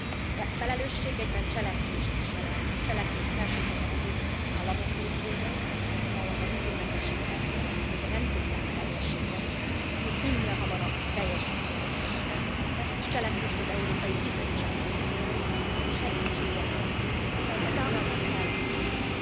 A felelősség egyben cselekvést is jelent, cselekvést elsősorban az érintett államok részéről, amelyek a vízummentesség feltételeit még nem tudták teljesíteni, minél hamarabb teljesítsék ezeket a feltételeket, és cselekvést az Európai Bizottság részéről, hiszen segítsége nélkül ez a folyamat elhúzódna.